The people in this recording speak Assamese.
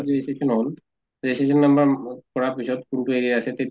registration হʼল, registration number কৰা পিছত কোনটো area আছে তে